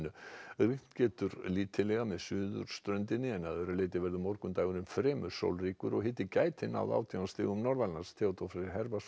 rignt getur lítillega með suðurströndinni en að öðru leyti verður morgundagurinn fremur sólríkur og hiti gæti náð átján stigum norðanlands Theodór Freyr